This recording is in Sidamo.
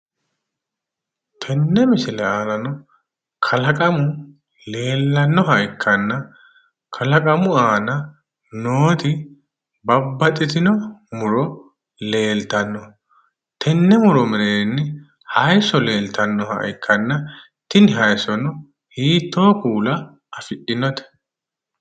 Tenne misile aanano kalaqamu leellannoha ikkanna kalaqamu aana nooti babbaxxitino muro leeltanno tenne muro mereerinni haayiso leeltannoha ikkanna tini haayisono hiitto kuula afi'dhinote?